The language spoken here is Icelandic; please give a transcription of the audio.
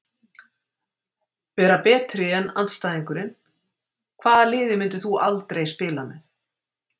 Vera betri en andstæðingurinn Hvaða liði myndir þú aldrei spila með?